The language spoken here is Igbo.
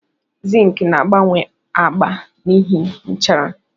Zink na-agbanwe agba n'ihi nchara.